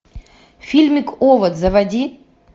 фильмик овод заводи